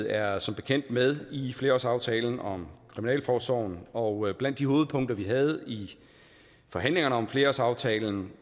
er som bekendt med i flerårsaftalen om kriminalforsorgen og blandt de hovedpunkter vi havde i forhandlingerne om flerårsaftalen